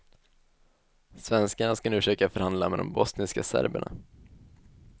Svenskarna ska nu försöka förhandla med de bosniska serberna.